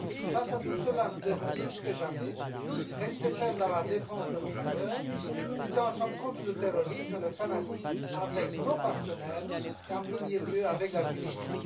Face à tout cela, nous devons plus que jamais rester fermes dans la défense de nos valeurs, lutter ensemble contre le terrorisme et le fanatisme, avec nos partenaires et, en premier lieu, avec la Tunisie.